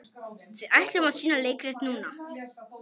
Við ætlum að sýna leikrit núna.